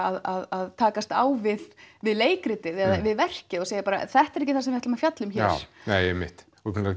að takast á við við leikritið eða verkið og segja bara þetta er ekki það sem við ætlum að fjalla um hér nei einmitt